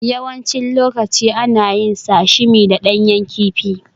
Yawancin lokaci ana yin Sashimi da ɗanyen kifi